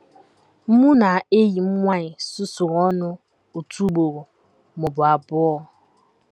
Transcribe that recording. “ Mụ na enyi m nwanyị susuru ọnụ otu ugboro ma ọ bụ abụọ.